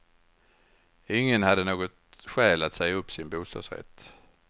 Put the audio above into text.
Ingen hade något skäl att säga upp sin bostadsrätt.